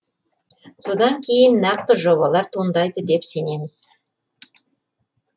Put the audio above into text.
содан кейін нақты жобалар туындайды деп сенеміз